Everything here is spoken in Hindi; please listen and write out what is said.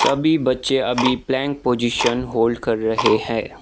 सभी बच्चे अभी प्लैंक पोजिशन होल्ड कर रहे हैं।